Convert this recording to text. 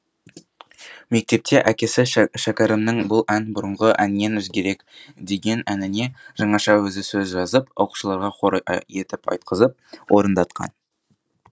мектепте әкесі шәкәрімнің бұл ән бұрынғы әннен өзгерек деген әніне жаңаша өзі сөз жазып оқушыларға хор етіп айтқызып орындатқан